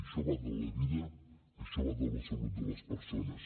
això va de la vida això va de la salut de les persones